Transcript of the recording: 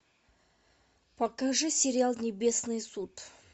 покажи сериал небесный суд